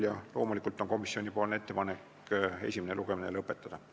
Ja loomulikult on komisjoni ettepanek esimene lugemine lõpetada.